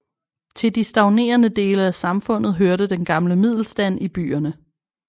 Til de stagnerende dele af samfundet hørte den gamle middelstand i byerne